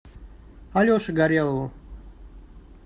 алеше горелову